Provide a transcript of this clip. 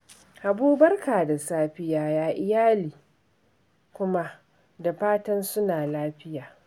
Habu barka da safiya, ya iyali kuma? fatan suna lafiya